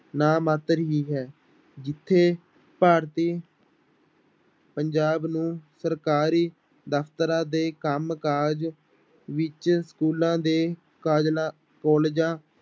ਨਾ ਮਾਤਰ ਹੀ ਹੈ ਜਿੱਥੇ ਭਾਰਤੀ ਪੰਜਾਬ ਨੂੰ ਸਰਕਾਰੀ ਦਫ਼ਤਰਾਂ ਦੇ ਕੰਮ ਕਾਜ ਵਿੱਚ ਸਕੂਲਾਂ ਤੇ ਕਾਜਲਾ ਕਾਲਜਾਂ